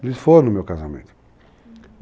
Eles foram no meu casamento.